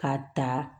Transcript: K'a ta